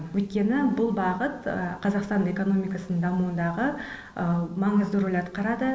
өйткені бұл бағыт қазақстан экономикасын дамуындағы маңызды рөл атқарады